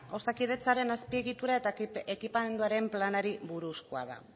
osakidetzaren azpiegitura eta ekipamenduari planari buruzkoa da